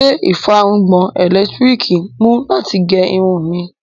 Ṣé ìfárùngbọ̀n ẹlẹ́lẹtiriki mú láti gé irun mí?